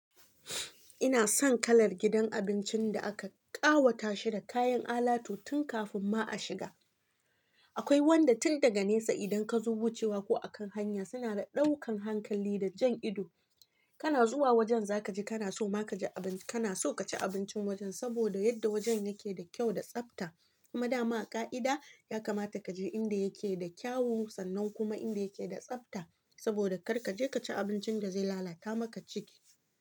Ina son kalar gidan abincin da aka ƙawata shi da kayan alatu tun kafin ma a shiga. Akwai wanda tun daga nesa idan ka zo wucewa ko a kan hanya suna da ɗaukan hankali da jan ido. Kana zuwa wajen za ka ji kana so ma kaji abin--kana so ka ci abincin wajen saboda yadda wajen yake da kyau da tsafta. Kuma dama a ƙa'ida ya kamata ka je inda yake da kyawu sannan kuma inda yake da tsafta saboda kar ka je ka ci abincin da zai lalata maka ciki.